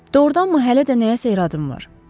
Doğrudanmı hələ də nəyəsə iradın var?